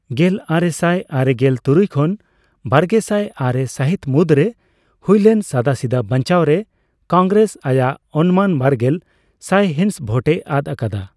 ᱜᱮᱞᱟᱨᱮᱥᱟᱭ ᱟᱨᱮᱜᱮᱞ ᱛᱩᱨᱩᱭ ᱠᱷᱚᱱ ᱵᱟᱨᱜᱮᱥᱟᱭ ᱟᱨᱮ ᱥᱟᱦᱤᱛ ᱢᱩᱫᱽᱨᱮ ᱦᱩᱭᱞᱮᱱ ᱥᱟᱫᱟᱥᱤᱫᱟᱹ ᱵᱟᱪᱱᱟᱣ ᱨᱮ ᱠᱚᱝᱜᱨᱮᱥ ᱟᱭᱟᱜ ᱚᱱᱢᱟᱱ ᱵᱟᱨᱜᱮᱞ ᱥᱟᱭᱦᱤᱸᱥ ᱵᱷᱳᱴᱮ ᱟᱫ ᱟᱠᱟᱫᱟ ᱾